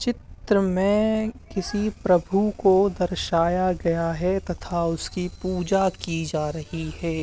चित्र में किसी प्रभु को दर्शया गया है तथा उसकी पूजा की जा रही है।